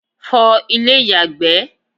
fọ ilé ìyàgbẹ́